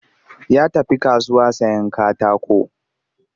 Ya tafi kasuwa sayen katako